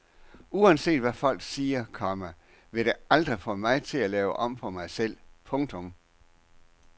Uanset hvad folk siger, komma vil det aldrig få mig til at lave om på mig selv. punktum